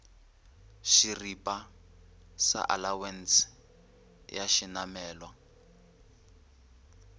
šeripa sa alawense ya šenamelwa